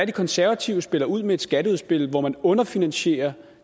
konservative spiller ud med et skatteudspil hvor man underfinansierer